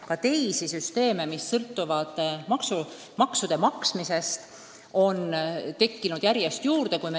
Ka teisi süsteeme, mis sõltuvad maksude maksmisest, on järjest juurde tekkinud.